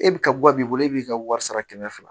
E bi ka gan b'i bolo e b'i ka wari sara kɛmɛ fila